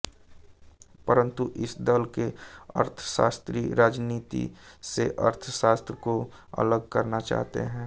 परंतु इस दल के अर्थशास्त्री राजीनीति से अर्थशास्त्र को अलग रखना चाहते हैं